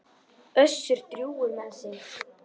Össur drjúgur með sig.